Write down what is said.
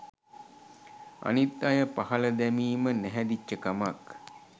අනිත් අය පහල දැමීම නැහැදිච්ච කමක්.